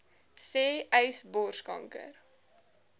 sê uys borskanker